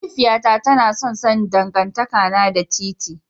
Mahaifiyata tana son sanin dangantakana da TiTi.